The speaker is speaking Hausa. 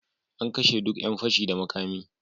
An kashe duk yan fashi da makami.